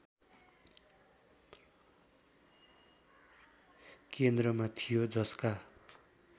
केन्द्रमा थियो जसका